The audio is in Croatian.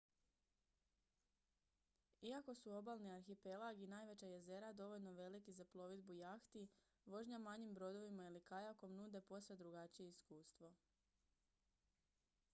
iako su obalni arhipelag i najveća jezera dovoljno veliki za plovidbu jahti vožnja manjim brodovima ili kajakom nude posve drugačije iskustvo